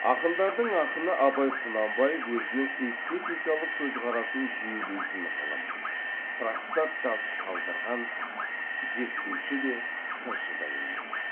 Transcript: ақындардың ақыны абай құнанбаев өзінің эстетикалық көзқарасын жүйелейтін ғылым трактат жазып қалдырған зерттеуші де сыншы да емес